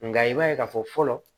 Nka i b'a ye k'a fɔ fɔlɔ